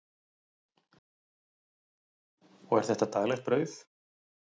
Andri Ólafsson: Og er þetta daglegt brauð?